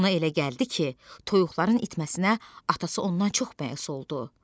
Ona elə gəldi ki, toyuqların itməsinə atası ondan çox bəhs oldu.